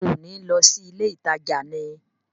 Ṣé ò ní lọ sí ilé ìtajà ni?